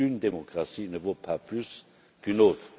Une démocratie ne vaut pas plus qu'une autre.